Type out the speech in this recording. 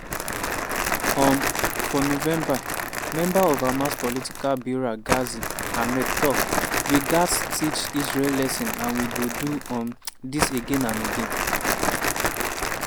um for november member of hamas political bureau ghazi hamad tok “we gatz teach israel lesson and we go do um dis again and again.”